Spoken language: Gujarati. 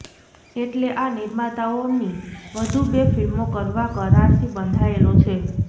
એટલે આ નિર્માતાઓની વધુ બે ફિલ્મો કરવા કરારથી બંધાયેલો છે